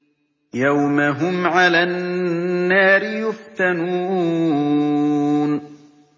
يَوْمَ هُمْ عَلَى النَّارِ يُفْتَنُونَ